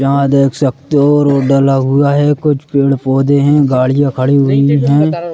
यहां देख सकते हो रोड डला हुआ है। कुछ पेड़-पौधे है गाड़ियां खड़ी हुई है।